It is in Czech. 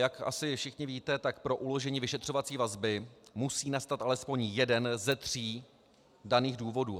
Jak asi všichni víte, tak pro uložení vyšetřovací vazby musí nastat alespoň jeden ze tří daných důvodů.